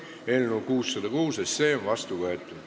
Eelnõu 606 on seadusena vastu võetud.